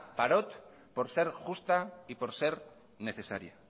parot por ser justa y por ser necesaria